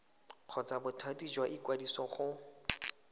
kgotsa bothati jwa ikwadiso go